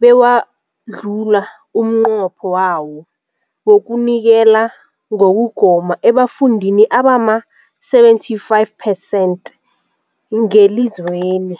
bewadlula umnqopho wawo wokunikela ngokugoma ebafundini abama-75 percent ngelizweni.